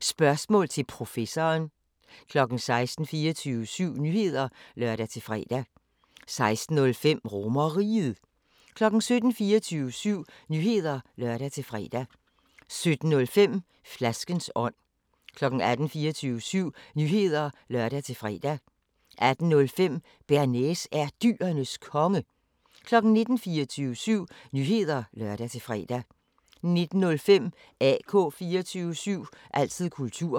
Spørgsmål til Professoren 16:00: 24syv Nyheder (lør-fre) 16:05: RomerRiget 17:00: 24syv Nyheder (lør-fre) 17:05: Flaskens ånd 18:00: 24syv Nyheder (lør-fre) 18:05: Bearnaise er Dyrenes Konge 19:00: 24syv Nyheder (lør-fre) 19:05: AK 24syv – altid kultur